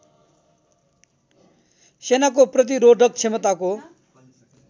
सेनाको प्रतिरोधक क्षमताको